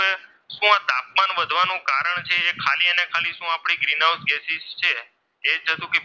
અને તેને શું આપણી ગ્રીનહાઉસ ગેસ છે એ જતું કે,